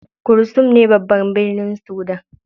Khartoum ne babban birnin Sudan.